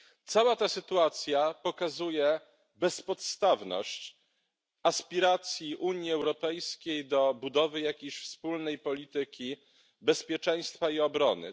Cała ta sytuacja pokazuje bezpodstawność aspiracji Unii Europejskiej do budowy jakiejś wspólnej polityki bezpieczeństwa i obrony.